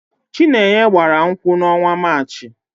Chinenye gbara nkwụ n'ọnwa Maachị.